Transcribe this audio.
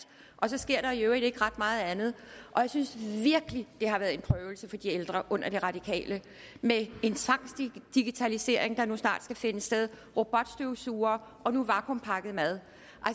og så sker der i øvrigt ikke ret meget andet jeg synes virkelig det har været en prøvelse for de ældre under de radikale med en tvangsdigitalisering der nu snart skal finde sted robotstøvsugere og nu vakuumpakket mad